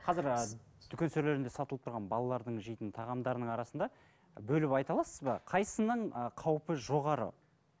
қазір ы дүкен сөрелерінде сатылып тұрған балалардың жейтін тағамдарының арасында бөліп айта аласыз ба қайсысының ы қаупі жоғары